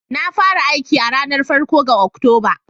Na fara aiki a ranar farko ga Oktoba